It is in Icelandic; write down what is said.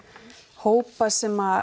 hópa sem